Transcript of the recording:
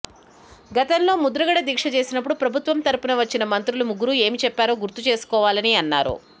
గతంలో ముద్రగడ దీక్ష చేసినప్పుడు ప్రభుత్వం తరపున వచ్చిన మంత్రులు ముగ్గురు ఏమి చెప్పారో గుర్తు చేసుకోవాలని అన్నారు